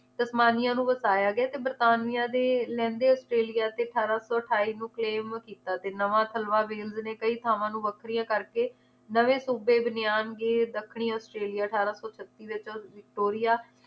ਸਤਮਾਨੀਆ ਨੂੰ ਵਰਤਾਇਆ ਗਿਆ ਤੇ ਬਰਤਾਨੀਆ ਦੇ ਲਹਿੰਦੇ ਆਸਟ੍ਰੇਲੀਆ ਤੇ ਅਠਾਰਾਂ ਸੌ ਅਠਾਈ ਨੂੰ claim ਕੀਤਾ ਨਵਾਂ ਥਲਵਾ wheelz ਨੇ ਕਈ ਥਾਵਾਂ ਨੂੰ ਵੱਖਰੀਆਂ ਕਰਕੇ ਨਵੇਂ ਸੂਬੇ ਬਣੇਆਂਗੇ ਦੱਖਣੀ ਆਸਟ੍ਰੇਲੀਆ ਅਠਾਰਾਂ ਸੌ ਛੱਤੀ ਵਿਚ ਵਿਕਟੋਰੀਆ